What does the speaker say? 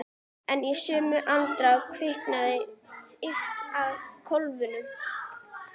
En í sömu andrá kviknaði þykjast í kofanum.